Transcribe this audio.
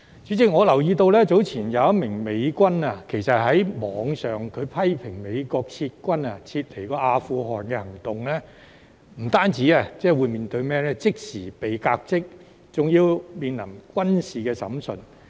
主席，我留意到早前一名美軍在網上批評美國撤軍離開阿富汗的行動後，不單即時被革職，還要面對軍事審訊。